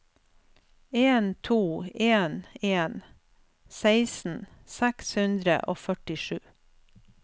en to en en seksten seks hundre og førtisju